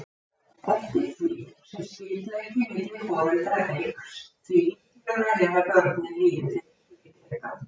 Eftir því sem skyldleiki milli foreldra eykst því líklegra er að börnin líði fyrir skyldleikann.